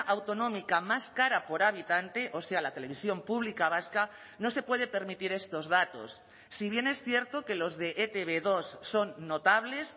autonómica más cara por habitante o sea la televisión pública vasca no se puede permitir estos datos si bien es cierto que los de e te be dos son notables